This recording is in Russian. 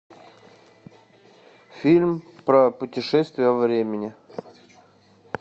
фильм про путешествие во времени